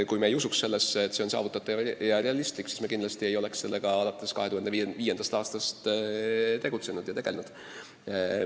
Kui me ei usuks, et see on saavutatav ja realistlik, siis me kindlasti ei oleks sellega alates 2005. aastast tegelenud.